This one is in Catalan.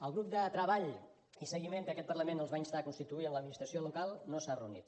el grup de treball i seguiment que aquest parlament els va instar a constituir amb l’administració local no s’ha reunit